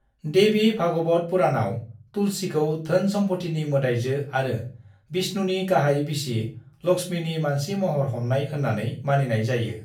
देवी भागवत पुराणआव तुलसीखौ धोन सम्फथिनि मोदायजो आरो विष्णुनि गाहाइ बिसि लक्ष्मीनि मानसि महर हमनाय होननानै मानिनाय जायो।